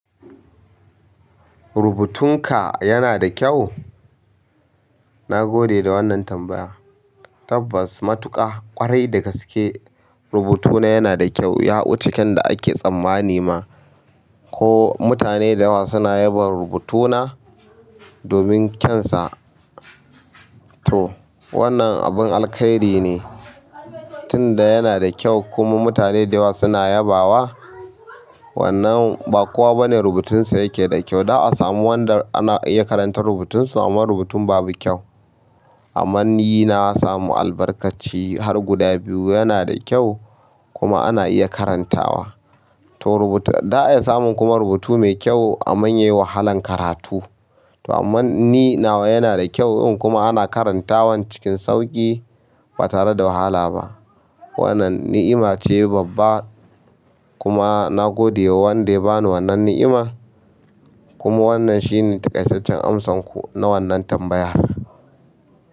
Rubutun ka yana da kyau? Na gode da wannan tambaya. Tabbas matuƙa ƙwarai da gaske rubutuna yana da kyau. Ya wuce kyan da ake tsammani ma. Ko mutane da yawa suna yabon rubutuna domin kyansa. Toh wannan abun alkhairi ne tunda yana da kyau kuma mutane da yawa suna yabawa. Wannan ba kowa bane rubutunsa yake da kyau. Za a sama wanda ya karanta rubutun so amma rubutun babu kyau. Amman ni na samu albarkaci har guda biyu, yana da kyau kuma ana iya karantawa. To za'a iya samun kuma rubutu mai kyau amman yayi wahalan karatu. To amman ni nawa yana da kyau dun kuma ana karantawan cikin sauƙi ba tare da wahala ba. Wannan ni'ima ce babba kuma na gode wa wanda ya bani wannan ni'ima. Kuma wannan shi ne takaicecen amsan ku na wannan tambaya.